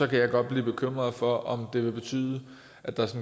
kan jeg godt blive bekymret for om det vil betyde at der